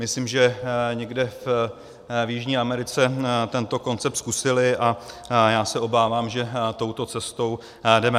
Myslím, že někde v Jižní Americe tento koncept zkusili a já se obávám, že touto cestou jdeme.